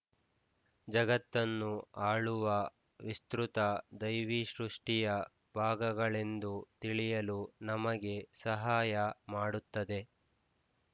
ಜಗತ್ತನ್ನು ಆಳುವ ವಿಸ್ತೃತ ದೈವೀಸೃಷ್ಟಿಯ ಭಾಗಗಳೆಂದು ತಿಳಿಯಲು ನಮಗೆ ಸಹಾಯ ಮಾಡುತ್ತದೆ